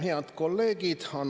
Head kolleegid!